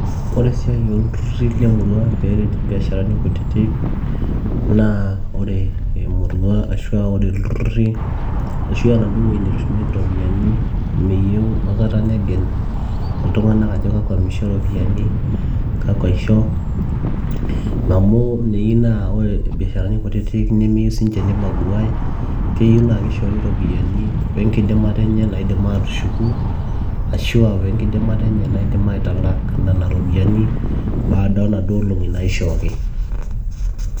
ore esiai olturruri lemurua peeret imbiasharani kutitik naa ore emurua ashua ore ilturruri ashua enaduo wueji netushumieki iropiyiani miyieu aikata negel ajo kakwa misho iropiyiani kakwa isho amu meyu naa ore irbiasharani kutitik nemeyieu sininche nibagua keyieu naa kishori iropiyiani wenkidimata enye naidim atushuku ashuawenkidimata enye naidim aitalak nana ropiyiani baada onaduo olong'i naishooki.